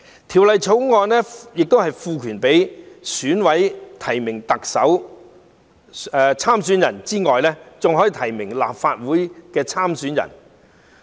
《條例草案》賦權選舉委員會委員提名特首參選人之外，還可以提名立法會參選人。